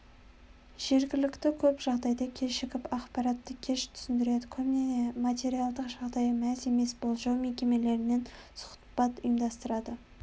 жергілікті көп жағдайда кешігіп ақпаратты кеш түсіндіреді көбіне материальдық жағдайы мәз емес болжау мекемелерінен сұхбат ұйымдастырады